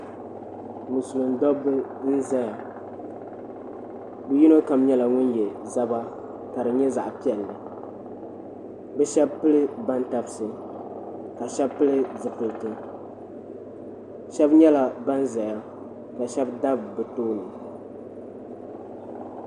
Musilim dabba n-zaya bɛ yino kam nyɛla ŋun ye zaba ka di nyɛ zaɣ'piɛlli bɛ shɛba vuli bantabisi ka shɛba pili zipiliti shɛba nyɛla ban zaya ka shɛba dabi bɛ tooni.